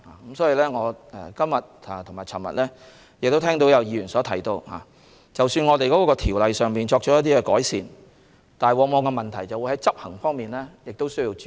我在今天和昨天均聽到議員提到，即使我們就條例作出改善，但在執行方面亦需注意。